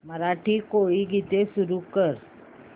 मराठी कोळी गीते सुरू कर